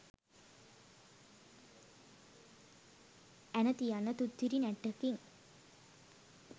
ඇන තියං තුත්තිරි නැට්ටකින්